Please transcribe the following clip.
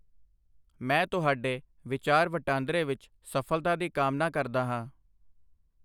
ਮੈਂ ਤੁਹਾਡੇ ਵਿਚਾਰ ਵਟਾਂਦਰੇ ਵਿੱਚ ਸਫਲ਼ਤਾ ਦੀ ਕਾਮਨਾ ਕਰਦਾ ਹਾਂ।